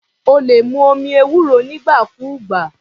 O lè mu omi ewúro nígbà kúùgbà.